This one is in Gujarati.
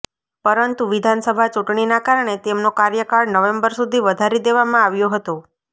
પરંતુ વિધાનસભા ચૂંટણીના કારણે તેમનો કાર્યકાળ નવેમ્બર સુધી વધારી દેવામાં આવ્યો હતો